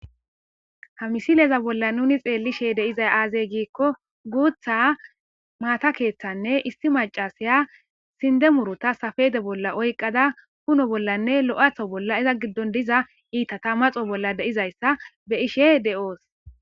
Ha misileza bolla nuni xeellishe deizay aazey giikko guutha maata keeththanne isti macasaya sinde murota safede bolla oyqada kuno bollanne lo'atho bolla eza giddon diza iita ta maxo bolla deizayssa be ishe de'oos.